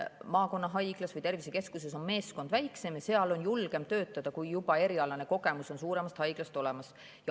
Maakonnahaiglas või tervisekeskuses on meeskond väiksem ja seal on julgem töötada, kui on juba erialane kogemus suuremast haiglast olemas.